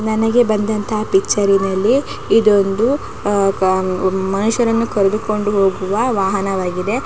ನನಗೆ ಬಂದಂತಹ ಪಿಕ್ಚರಿನಲ್ಲಿ ಇದು ಒಂದು ಆ ಆಹ್ ಮನುಷ್ ರನ್ನು ಕರದು ಕೊಂಡು ಹೋಗುವ ವಾಹನವಾಗಿದೆ.